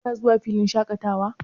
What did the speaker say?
Kina zuwa filin shaƙatawa?